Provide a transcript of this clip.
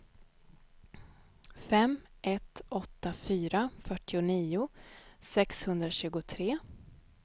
fem ett åtta fyra fyrtionio sexhundratjugotre